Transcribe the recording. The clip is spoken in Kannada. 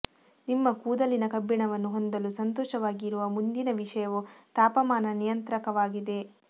ನಿಮ್ಮ ಕೂದಲಿನ ಕಬ್ಬಿಣವನ್ನು ಹೊಂದಲು ಸಂತೋಷವಾಗಿರುವ ಮುಂದಿನ ವಿಷಯವು ತಾಪಮಾನ ನಿಯಂತ್ರಕವಾಗಿದೆ